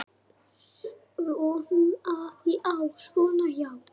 Svona já.